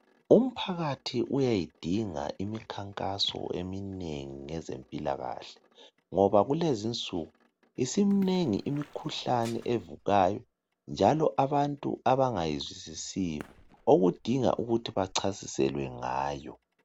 Umphakathi uyayidinga imikhankaso eminengi ngezempilakahle ngoba kulezinsuku isimnengi imikhuhlane evukayo njalo abantu abangayizwisisiyo okudinga ukuthi bacasiselwe ngayo.